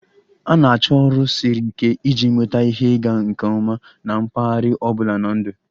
A na-achọ ọrụ siri ike iji nweta ihe ịga nke ọma na mpaghara ọ bụla na ndụ.